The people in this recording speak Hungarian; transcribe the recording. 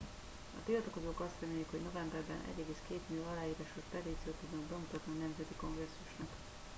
a tiltakozók azt remélik hogy novemberben 1,2 millió aláírásos petíciót tudnak bemutatni a nemzeti kongresszusnak